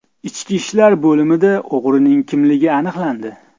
Ichki ishlar bo‘limida o‘g‘rining kimligi aniqlandi.